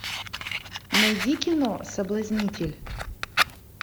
найди кино соблазнитель